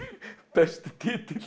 besti titill